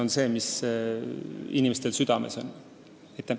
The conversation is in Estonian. Just see on inimestel südame peal.